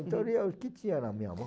Então eu lia o que tinha na minha mão.